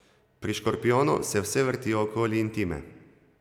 Pri škorpijonu se vse vrti okoli intime.